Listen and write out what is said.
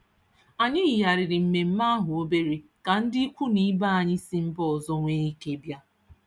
Anyị yigharịrị mmemme ahụ obere ka ndị ikwu na ibe anyị si mba ọzọ nwee ike bịa.